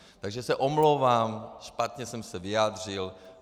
Takže se omlouvám, špatně jsem se vyjádřil.